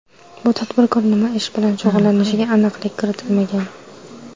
Bu tadbirkor nima ish bilan shug‘ullanishiga aniqlik kiritilmagan.